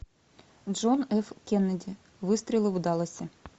джон ф кеннеди выстрелы в далласе